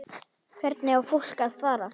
Hvert á fólk að fara?